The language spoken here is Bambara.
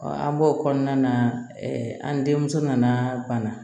an b'o kɔnɔna na an denmuso nana banna